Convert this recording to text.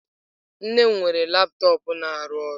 Nne m weere laptop na-arụ ọrụ.